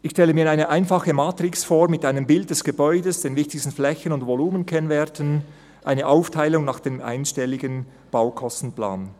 Ich stelle mir eine einfache Matrix vor, mit einem Bild des Gebäudes, den Flächen- und Volumenkennwerten sowie einer Aufteilung nach dem einstelligen Baukostenplan.